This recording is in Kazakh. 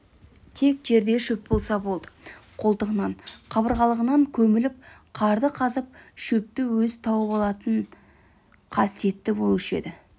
тек жерде шөп болса болды қолтығынан қабырғалығынан көміліп қарды қазып шөпті өзі тауып алып тұратын қасиеті болушы еді